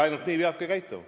Ainult nii peabki käituma.